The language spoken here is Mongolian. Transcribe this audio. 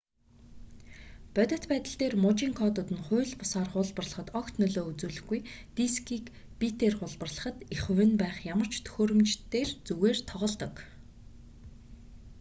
бодит байдал дээр мужийн кодууд нь хууль бусаар хуулбарлахад огт нөлөө үзүүлэхгүй дискийг битээр хуулбарлахад эх хувь нь байх ямар ч төхөөрөмж дээр зүгээр тоглодог